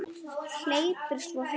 Hleypur svo heim.